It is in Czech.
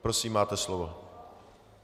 Prosím, máte slovo.